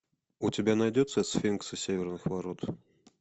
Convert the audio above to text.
у тебя найдется сфинксы северных ворот